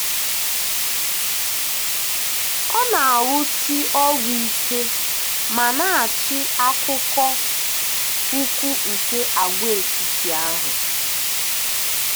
Ọ na-arụsi ọrụ ike ma na-achị akụkụ ugwu nke agwaetiti ahụ.